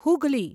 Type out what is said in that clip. Hooghly